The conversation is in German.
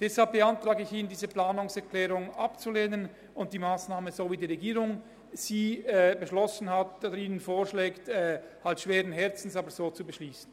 Deshalb beantrage ich Ihnen, diese Planungserklärung abzulehnen und die Massnahme so, wie sie die Regierung Ihnen vorschlägt, schweren Herzens zu beschliessen.